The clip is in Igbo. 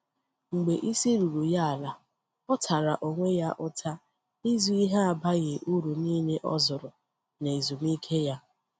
Mgbe isi ruru ya ala, ọ tara onwe ya ụta ịzụ ihe abaghi uru niile o zụrụ na ezumike ya.